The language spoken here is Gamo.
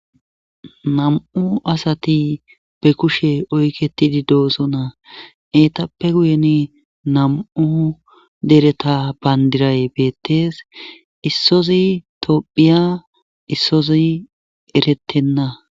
Nam7u asati be kushe oyketidi doosonna eetappe guyen nam7u dereta bandiray beettees issozi tophiya issozi erettenna.